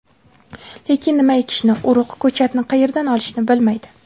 Lekin nima ekishni, urug‘, ko‘chatni qayerdan olishni bilmaydi.